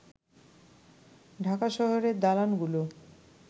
ঢাকা শহরের দালানগুলো